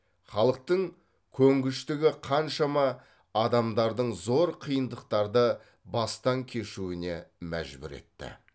халықтың көнгіштігі қаншама адамдардың зор қиындықтарды бастан кешуіне мәжбүр етті